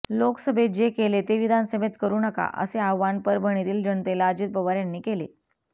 लोकसभेत जे केले ते विधानसभेत करु नका असे आवाहन परभणीतील जनतेला अजित पवार यांनी केले